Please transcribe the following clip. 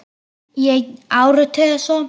Í einn áratug eða svo.